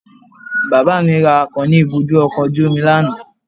Bàbá mi ra akàn ní ibùdó ọkọ̀ ojú omi lánàá.